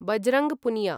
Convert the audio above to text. Bajrang Punia